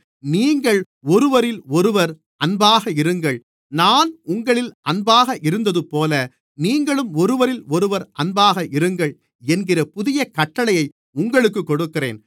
நீங்கள் ஒருவரிலொருவர் அன்பாக இருங்கள் நான் உங்களில் அன்பாக இருந்ததுபோல நீங்களும் ஒருவரிலொருவர் அன்பாக இருங்கள் என்கிற புதிய கட்டளையை உங்களுக்குக் கொடுக்கிறேன்